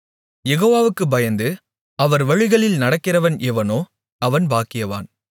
யெகோவாவுக்குப் பயந்து அவர் வழிகளில் நடக்கிறவன் எவனோ அவன் பாக்கியவான்